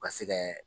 U ka se kɛ